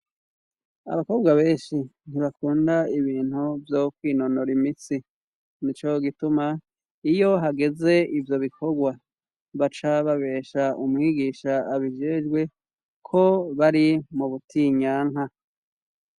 Abakobwa benshi, ntibakunda ibintu vyo kwinonora imitsi, nico gituma iyo hageze ivyo bikorwa, baca babesha umwigisha abijejwe ko bari mu butinyanka.